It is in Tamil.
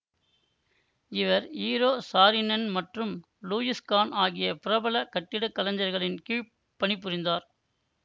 இவர் ஈரோ சாரினென் மற்றும் லூயிஸ் கான் ஆகிய பிரபல கட்டிடக்கலைஞர்களின் கீழ் பணிபுரிந்தார்